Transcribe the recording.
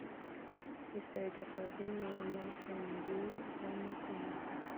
выставить охлаждение на кондее в ванной комнате